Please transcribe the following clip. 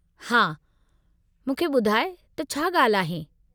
हा, मूंखे ॿुधाइ त छा ॻाल्हि आहे?